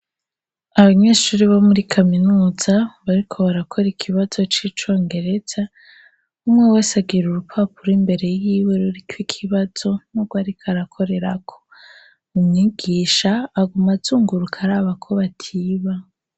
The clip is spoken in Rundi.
Abanyeshuri bo muri kaminuza bariko barakora ikibazo c'icongereza umwe wese agira urupapuro imbere yiwe ruriko ikibazo nurwariko arakorerako. Umwigisha aguma azunguruka araba ko batiba.